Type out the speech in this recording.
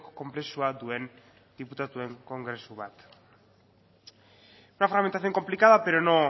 konplexua duen diputatuen kongresu bat una fragmentación complicada pero no